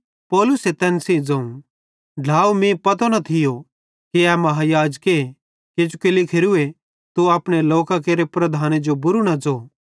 पौलुसे तैन सेइं ज़ोवं ढ्लाव मीं पतो न थियो कि ए महायाजक किजोकि लिखोरूए तू अपने लोकां केरे प्रधाने जो बुरू न ज़ो